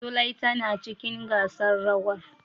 Zulai tana cikin gasar rawar.